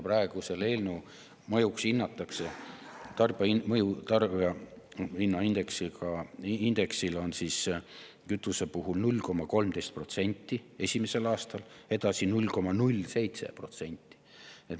Praegu hinnatakse selle eelnõu mõjuks tarbijahinnaindeksile kütuse puhul 0,13% esimesel aastal, edasi 0,07%.